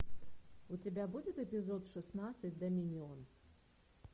у тебя будет эпизод шестнадцать доминион